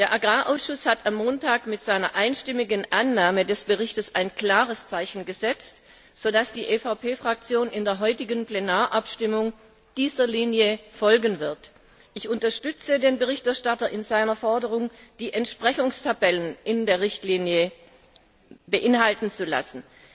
Der Agrarausschuss hat am Montag mit seiner einstimmigen Annahme des Berichts ein klares Zeichen gesetzt, so dass die EVP Fraktion in der heutigen Plenarabstimmung dieser Linie folgen wird. Ich unterstütze den Berichterstatter in seiner Forderung, die Entsprechungstabellen in der Richtlinie zu lassen.